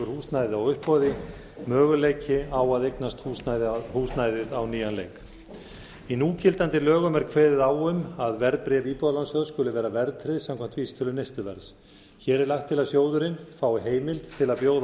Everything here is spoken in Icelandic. húsnæði á uppboði möguleiki á að eignast húsnæðið á nýjan leik í núgildandi lögum er kveðið á um að verðbréf íbúðalánasjóð skuli vera verðtryggt samkvæmt vísitölu neysluverðs hér er lagt til að sjóðurinn fái heimild til að bjóða